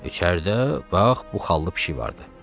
İçəridə bax, bu xallı pişik vardı.